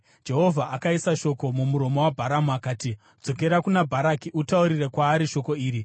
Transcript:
Jehovha akaisa shoko mumuromo waBharamu akati, “Dzokera kuna Bharaki utaure kwaari shoko iri.”